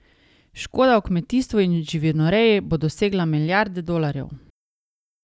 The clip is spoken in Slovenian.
Škoda v kmetijstvu in živinoreji bo dosegla milijardo dolarjev.